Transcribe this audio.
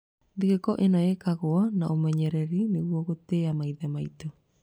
Thigũkũ ĩno yekagwo na ũmenyereri nĩguo gũtĩa maithe maitũ.